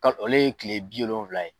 Ka ale ye kile bi wolonfila ye